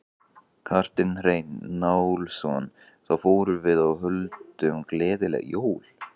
Kjartan Hreinn Njálsson: Þá förum við og höldum gleðileg jól?